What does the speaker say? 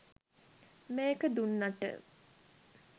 මේක දුන්නට